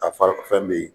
A fa fɛn bɛ yen